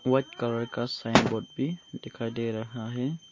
White colour का sign board भी दिखाई दे रहा है।